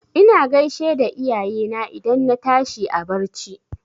Ina gaishe da iyayena idan na tashi a barci.